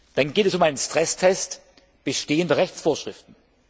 Dann geht es um einen Stresstest bestehender Rechtsvorschriften.